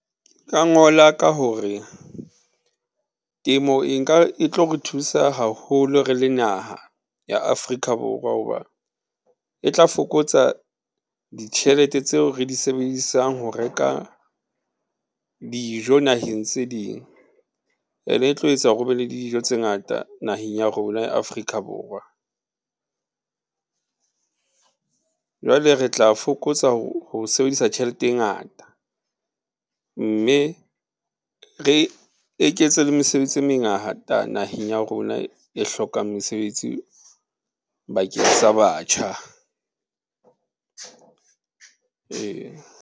Nka ngola ka hore temo e nka, e tlo re thusa haholo re le naha ya Afrika Borwa, ho ba e tla fokotsa ditjhelete tseo re di sebedisang ho reka dijo naheng tse ding. Ene e tlo etsa hore ho be le dijo tse ngata naheng ya rona ya Afrika Borwa. Jwale re tla fokotsa ho sebedisa tjhelete e ngata, mme re eketse le mesebetsi e mengata naheng ya rona e hlokang mesebetsi bakeng sa batjha.